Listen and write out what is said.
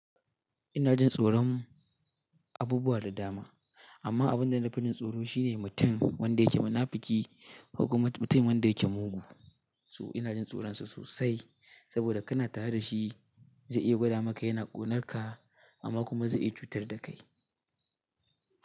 Ina jin tsoron abubuwa da dama amma abinda nafi jin tsoro shi ne mutum wanda yake munafuki ko kuma mutum wanda yake mugu. To ina jin tsoronsa sosai saboda kana tare dashi zai iya gwada maka yana ƙonarka amma kuma zai iya cutar da kai.